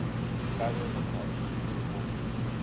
ka ge go hlalošitšwe mo